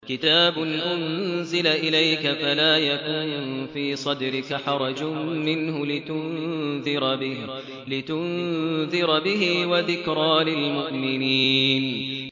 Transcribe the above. كِتَابٌ أُنزِلَ إِلَيْكَ فَلَا يَكُن فِي صَدْرِكَ حَرَجٌ مِّنْهُ لِتُنذِرَ بِهِ وَذِكْرَىٰ لِلْمُؤْمِنِينَ